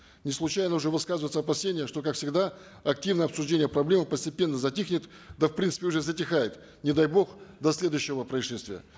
не случайно уже высказываются опасения что как всегда активное обсуждение проблемы постепенно затихнет да в принципе уже затихает не дай бог до следующего происшествия